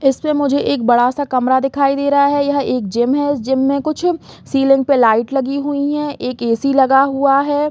इसमें मुझे एक बड़ा-सा कमरा दिखाई दे रहा है यह एक जिम है इस जिम में कुछ सिलींग पे लोइट लगी हुई है एक ए.सी लगा हुआ है।